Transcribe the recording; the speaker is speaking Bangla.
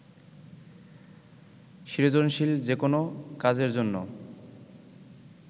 সৃজনশীল যেকোনো কাজের জন্য